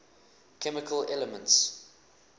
chemical elements